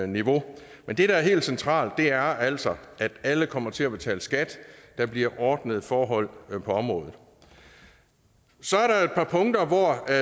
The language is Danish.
niveau men det der er helt centralt er altså at alle kommer til at betale skat der bliver ordnede forhold på området så er der et par punkter hvor der